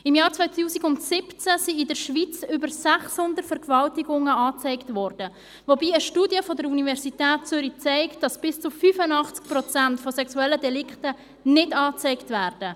Im Jahr 2017 wurden in der Schweiz über 600 Vergewaltigungen angezeigt, wobei eine Studie der Universität Zürich zeigt, dass bis zu 85 Prozent der sexuellen Delikte nicht angezeigt werden.